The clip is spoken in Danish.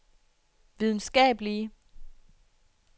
videnskabelige